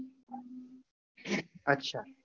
અચ્છા.